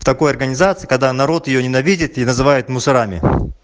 такой организации когда народ её ненавидит и называют мусорами